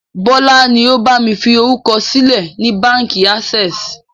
Bọlá ni ó bami fi orúkọ sílẹ̀ ni Báńkì access.